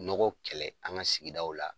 Nɔgɔ kɛlɛ an ka sigidaw la